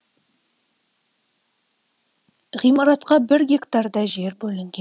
ғимаратқа бір гектардай жер бөлінген